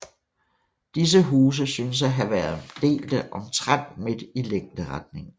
Disse huse synes a have været delte omtrent midt i længderetningen